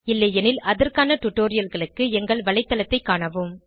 இல்லையெனில் அதற்கான டுடோரியல்களுக்கு எங்கள் வலைத்தளத்தைக் காணவும்